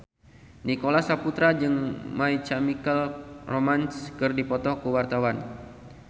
Nicholas Saputra jeung My Chemical Romance keur dipoto ku wartawan